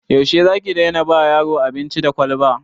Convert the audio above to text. Yaushe za ki daina ba yaro abinci da kwalba?